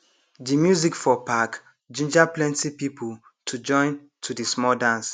de music for park ginger plenti people to join to the small dance